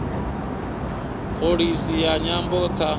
pholisi ya nyambo kha